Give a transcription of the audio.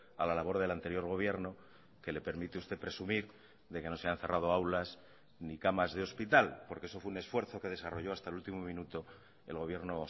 a la labor del anterior gobierno que le permite usted presumir de que no se han cerrado aulas ni camas de hospital porque eso fue un esfuerzo que desarrollo hasta el último minuto el gobierno